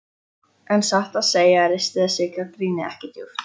En satt að segja ristir þessi gagnrýni ekki djúpt.